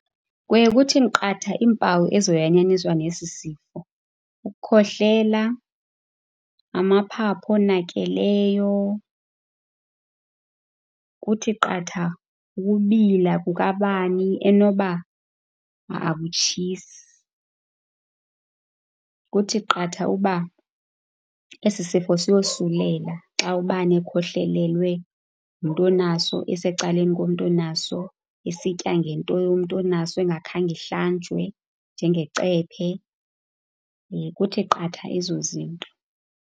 Kuye kuthi qatha iimpawu nesi sifo, ukukhohlela, amaphaphu onakeleyo. Kuthi qatha ukubila kukabani enoba akutshisi. Kuthi qatha uba esi sifo siyosulela xa ubani ekhohlelelwe ngumntu onaso, esecaleni komntu onaso, esitya ngento yomntu onaso engakhange ihlanjwe njengecephe. kuthi qatha ezo zinto.